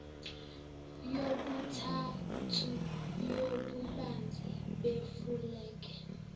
yokuthathu yobubanzi befulege